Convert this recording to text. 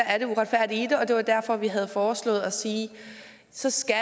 er det uretfærdige og det var derfor at vi havde foreslået at sige at så skal